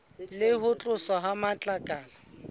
le ho tloswa ha matlakala